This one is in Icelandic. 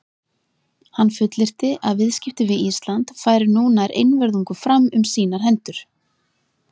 Hann fullyrti, að viðskipti við Ísland færu nú nær einvörðungu fram um sínar hendur.